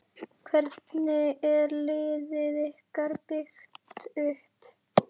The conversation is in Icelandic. Hvernig er liðið ykkar byggt upp?